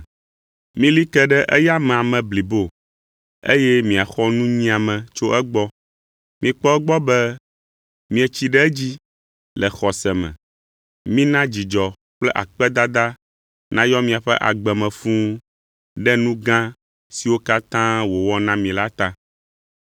Mili ke ɖe eya amea me blibo eye miaxɔ nunyiame tso egbɔ. Mikpɔ egbɔ be mietsi ɖe edzi le xɔse me. Mina dzidzɔ kple akpedada nayɔ miaƒe agbe me fũu ɖe nu gã siwo katã wòwɔ na mi la ta.